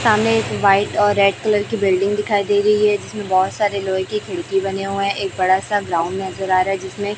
सामने एक व्हाइट और रेड कलर की बिल्डिंग दिखाई दे रही है जिसमें बहोत सारे लोहे के खिड़की बने हुए है एक बड़ा सा ग्राउंड नजर आ रहा है जिसमें --